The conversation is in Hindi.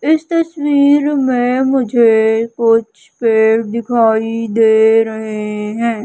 इस तस्वीर में मुझे कुछ पेड़ दिखाई दे रहे हैं।